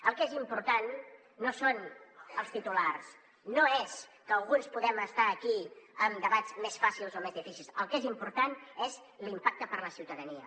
el que és important no són els titulars no és que alguns podem estar aquí amb debats més fàcils o més difícils el que és important és l’impacte per a la ciutadania